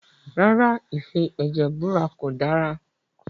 Rárá, ìfi ẹ̀jẹ̀ búra kò dára